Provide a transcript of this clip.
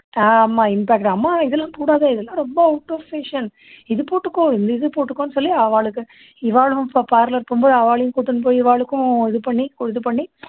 ஆமா impact அம்மா இதெல்லாம் போடாத இதெல்லாம் ரொம்ப out of fashion இது போட்டுக்கோ இது போட்டுக்கோன்னு சொல்லி அவாளுக்கு இவாளும் இப்போ parlor போகும் போது அவாளையும் கூட்டின்னு போயி இவாளுக்கும் இது பண்ணி இது பண்ணி